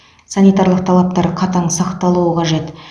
санитарлық талаптар қатаң сақталуы қажет